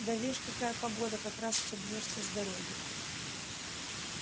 да вишь какая погода как раз собьёшься с дороги